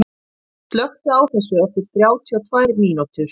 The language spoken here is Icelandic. Sonný, slökktu á þessu eftir þrjátíu og tvær mínútur.